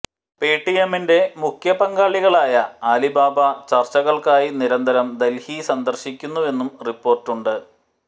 പേടിഎമ്മിന്റെ മുഖ്യ പങ്കാളികളായ അലിബാബ ചര്ച്ചകള്ക്കായി നിരന്തരം ദല്ഹി സന്ദര്ശിക്കുന്നുവെന്നും റിപ്പോര്ട്ടുണ്ട്